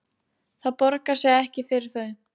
Það borgar sig ekki fyrir þau